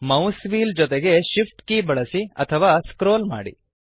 mouse wheel ಜೊತೆಗೆ Shift key ಬಳಸಿ ಅಥವಾ ಸ್ಕ್ರೋಲ್ ಮಾಡಿ